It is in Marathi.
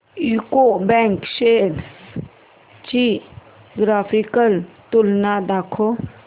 यूको बँक शेअर्स ची ग्राफिकल तुलना दाखव